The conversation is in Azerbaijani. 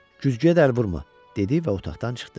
Güzgüyə də əl vurma, dedi və otaqdan çıxdı.